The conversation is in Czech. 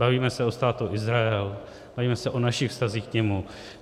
Bavíme se o Státu Izrael, bavíme se o našich vztazích k němu.